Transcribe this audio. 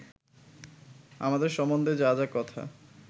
আমাদের সম্বন্ধে যা যা কথা